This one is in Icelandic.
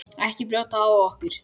Ekki brjóta á okkur.